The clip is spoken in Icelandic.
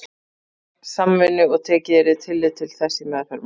reglunni samvinnu og tekið yrði tillit til þess í meðferð máls